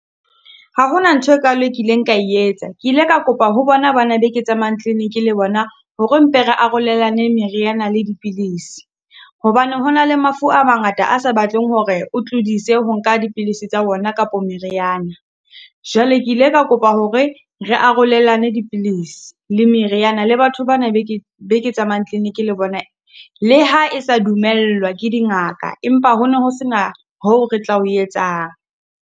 Ha ho na ntho e kalo e kileng ka etsa, ke ile ka kopa ho bona ba na be ke tsamayang kliniki le bona, hore mpe re arolelane meriana le dipilisi. Hobane hona le mafu a mangata a sa batleng hore o tlodise ho nka dipilisi tsa ona kapo meriana. Jwale ke ile ka kopa hore re arolelane dipilisi le meriana, le batho bana be ke be ke tsamayang kliniki le bona. Le ha e sa dumellwa ke dingaka, Empa ho no ho sena hoo re tla o etsang.